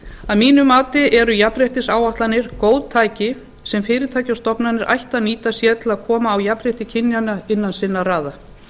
að mínu mati eru jafnréttisáætlanir góð tæki sem fyrirtæki og stofnanir ættu að nýta sér til að koma á jafnrétti kynjanna innan sinna raða